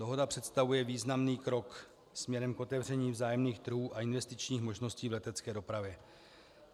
Dohoda představuje významný krok směrem k otevření vzájemných trhů a investičních možností v letecké dopravě.